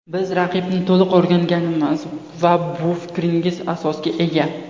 Biz raqibni to‘liq o‘rganganmiz va bu fikringiz asosga ega.